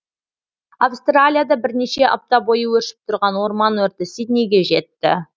австралияда бірнеше апта бойы өршіп тұрған орман өрті сиднейге жетті